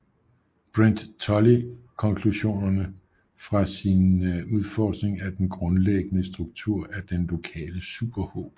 Brent Tully konklusionerne fra sin udforskning af den grundlæggende struktur af den Lokale superhob